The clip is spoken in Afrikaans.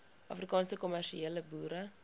afrikaanse kommersiële boere